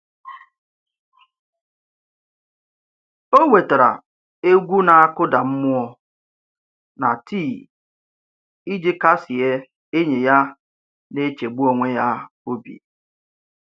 O wetara egwu na-akụda mmụọ na tii iji kasie enyi ya na-echegbu onwe ya obi.